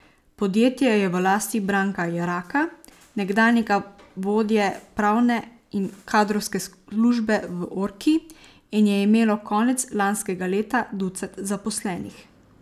Podjetje je v lasti Branka Jeraka, nekdanjega vodje pravne in kadrovske službe v Orki, in je imelo konec lanskega leta ducat zaposlenih.